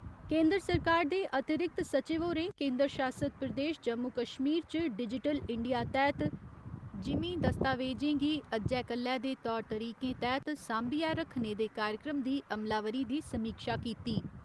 केन्द्र सरकार दे अतिरिक्त सचिव होरें केन्दर शासित प्रदेश जम्मू कश्मीर च डिजिटल इंडिया तैह्त जिमींं दस्तावेजें गी अज्जै कल्लै दे तौर तरीकें तैह्त सांभियै रक्खने दे कार्यक्रम दी अमलावरी दी समीक्षा कीती।